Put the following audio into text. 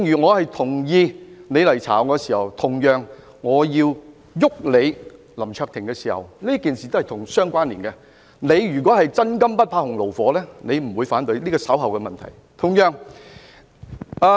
我同意你調查我，同樣地，當我要"郁"林卓廷議員時，兩件事情是互相關連的，如果他是真金不怕洪爐火的話，他也不會反對，但這是稍後的議案。